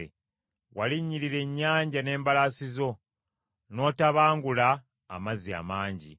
Walinnyirira ennyanja n’embalaasi zo, n’otabangula amazzi amangi.